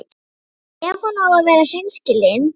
Ef hún á að vera hreinskilin.